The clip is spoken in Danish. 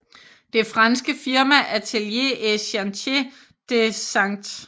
Det franske firma Atelier et Chantiers de St